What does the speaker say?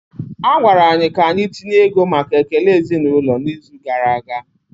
A gwara anyị ka anyị tinye ego maka ekele ezinụlọ n'izu gara aga